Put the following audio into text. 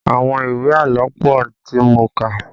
Àwọn ìwé àlọ́ pọ tí mo kà